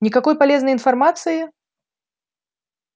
никакой полезной информации